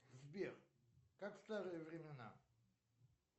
сбер как в старые времена